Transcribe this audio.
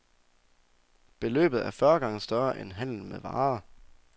Beløbet er fyrre gange større end handlen med varer.